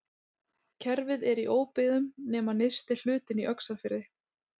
kerfið er í óbyggðum nema nyrsti hlutinn í öxarfyrði